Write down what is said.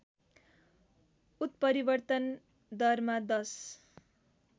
उत्परिवर्तन दरमा १०